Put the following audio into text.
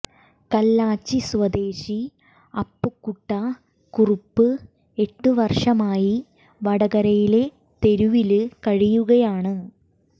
കല്ലാച്ചി സ്വദേശി അപ്പുക്കുട്ട കുറുപ്പ് എട്ട് വര്ഷമായി വടകരയിലെ തെരുവില് കഴിയുകയാണ്